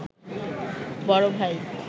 বড় ভাই